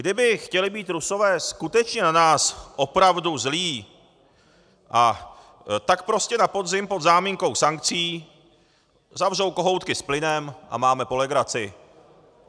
Kdyby chtěli být Rusové skutečně na nás opravdu zlí, tak prostě na podzim pod záminkou sankcí zavřou kohoutky s plynem a máme po legraci.